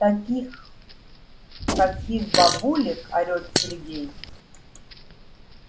таких каких бабулек орёт сергей